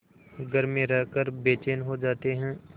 घर में रहकर बेचैन हो जाते हैं